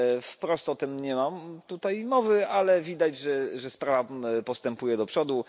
Wprost o tym nie ma tutaj mowy, ale widać że sprawa postępuje do przodu.